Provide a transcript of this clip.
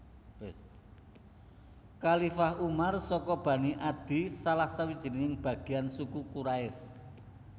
Khalifah Umar saka bani Adi salah sawijining bagiyan suku Quraisy